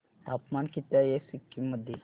तापमान किती आहे सिक्किम मध्ये